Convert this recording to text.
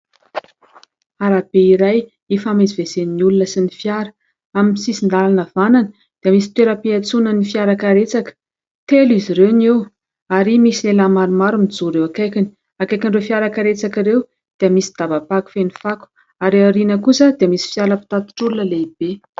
Arabe iray ifamezivezen'ny olona sy ny fiara. Amin'ny sisin-dalana havanana dia misy toeram-piantsonan'ny fiara karetsaka. Telo izy ireo ny eo ary misy lehilahy maromaro mijoro eo akainy. Akaikin'ireo fiara karetsaka ireo, dia misy daba-pako feno fako ary aoriana kosa dia misy fiara-pitatitr'olona lehibe.